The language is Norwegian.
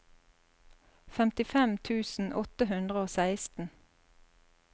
femtifem tusen åtte hundre og seksten